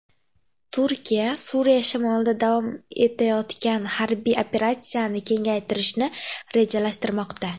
Turkiya Suriya shimolida davom etayotgan harbiy operatsiyani kengaytirishni rejalashtirmoqda.